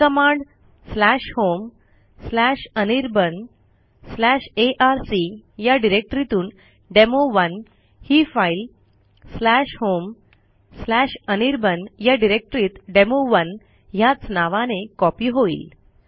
ही command homeanirbanarc या डिरेक्टरीतून डेमो1 ही फाईल homeanirban या डिरेक्टरीत डेमो1 ह्याच नावाने कॉपी होईल